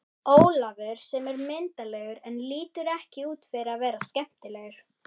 Ólafur sem er myndarlegur en lítur ekki út fyrir að vera skemmtilegur.